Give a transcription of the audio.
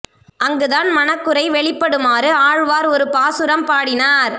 அங்கு தன் மனக் குறை வெளிப்படுமாறு ஆழ்வார் ஒரு பாசுரம் பாடினார்